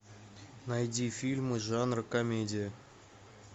найди фильмы жанра комедия